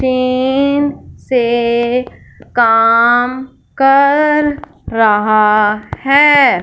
तीन से काम कर रहा है।